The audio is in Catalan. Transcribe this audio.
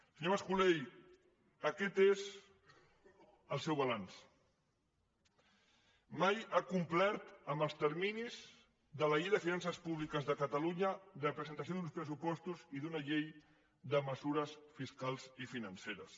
senyor mas colell aquest és el seu balanç mai ha complert amb els terminis de la llei de finances públiques de catalunya de presentació d’uns pressupostos i d’una llei de mesures fiscals i financeres